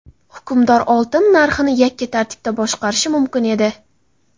Hukmdor oltin narxini yakka tartibda boshqarishi mumkin edi.